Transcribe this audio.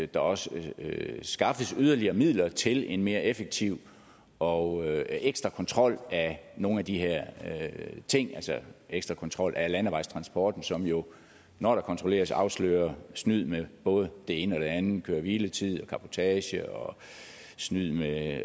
der også skaffes yderligere midler til en mere effektiv og ekstra kontrol af nogle af de her ting altså ekstra kontrol af landevejstransporten som jo når der kontrolleres afslører snyd med både det ene og det andet køre hvile tid cabotage og snyd med